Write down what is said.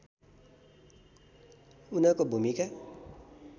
उनको भूमिका